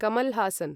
Kamal Haasan